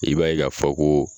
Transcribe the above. I b'a ye k'a fɔ koo